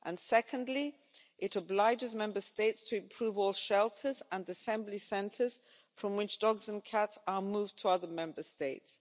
Secondly, it obliges Member States to improve all shelters and assembly centres from which dogs and cats are moved to other Member States.